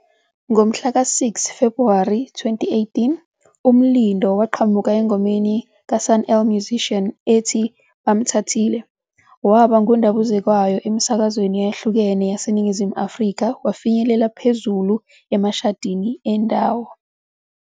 Ngomhlaka-6 Febhuwari 2018, uMlindo waqhamuka engomeni kaSun-El Musician ethi "Bamthathile", waba ngundabuzekwayo emisakazweni eyahlukene yaseNingizimu Afrika, wafinyelela phezulu emashadini endawo.